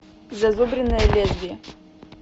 зазубренное лезвие